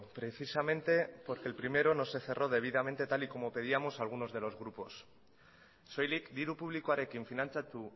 precisamente porque el primero no se cerró debidamente tal y como pedíamos algunos de los grupos soilik diru publikoarekin finantzatu